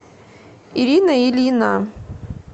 ирина ильина